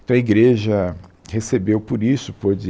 Então, a igreja recebeu por isso, pode